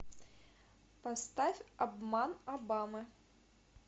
поставь обман обамы